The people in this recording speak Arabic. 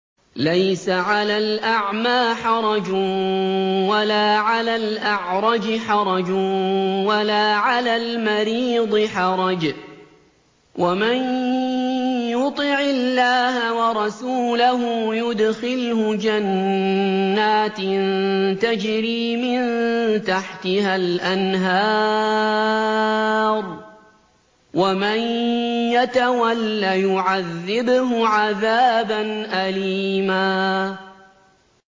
لَّيْسَ عَلَى الْأَعْمَىٰ حَرَجٌ وَلَا عَلَى الْأَعْرَجِ حَرَجٌ وَلَا عَلَى الْمَرِيضِ حَرَجٌ ۗ وَمَن يُطِعِ اللَّهَ وَرَسُولَهُ يُدْخِلْهُ جَنَّاتٍ تَجْرِي مِن تَحْتِهَا الْأَنْهَارُ ۖ وَمَن يَتَوَلَّ يُعَذِّبْهُ عَذَابًا أَلِيمًا